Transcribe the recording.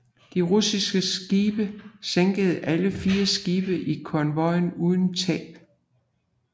De russiske skibe sænkede alle fire skibe i konvojen uden tab